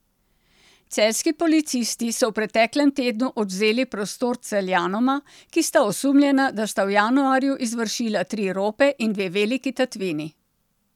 Celjski policisti so v preteklem tednu odvzeli prostost Celjanoma, ki sta osumljena, da sta v januarju izvršila tri rope in dve veliki tatvini.